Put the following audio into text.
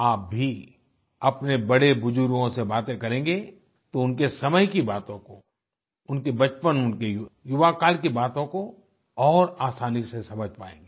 आप भी अपने बड़ेबुजुर्गों से बातें करेंगे तो उनके समय की बातों को उनके बचपन उनके युवाकाल की बातों को और आसानी से समझ पाएँगे